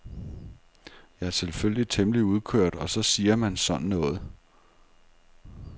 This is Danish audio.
Jeg er selvfølgelig temmelig udkørt og så siger man sådan noget.